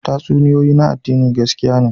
Tatsuniyoyi na addini gaskiya ne